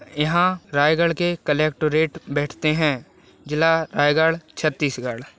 यहाँ रायगढ़ के कलेक्टोरेट बैठते है जिला रायगढ़ छतीसगढ़ --